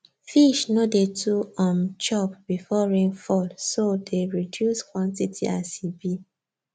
fish no dey too um chop before rainfall so dey reduce quantity as e be